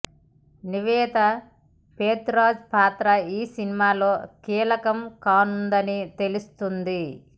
నివేతా పెత్తురాజ్ పాత్ర ఈ సినిమాలో కీలకం కానుందని తెలుస్తోంది